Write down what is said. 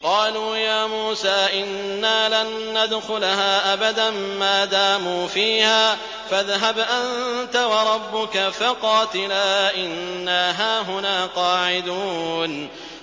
قَالُوا يَا مُوسَىٰ إِنَّا لَن نَّدْخُلَهَا أَبَدًا مَّا دَامُوا فِيهَا ۖ فَاذْهَبْ أَنتَ وَرَبُّكَ فَقَاتِلَا إِنَّا هَاهُنَا قَاعِدُونَ